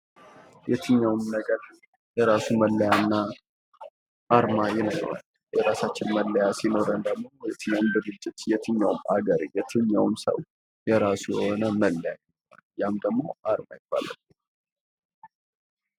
የትኛውም ነገር የራሱ መለያ አርማ ይኖረዋል። የራሳችን መለያ ሲኖረን ደግሞ የትኛውም ሀገር የትኛውም ሰው የራሱ የሆነ መለያ ያም ደግሞ አርማ ይባላል።